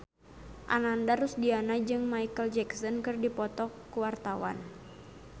Ananda Rusdiana jeung Micheal Jackson keur dipoto ku wartawan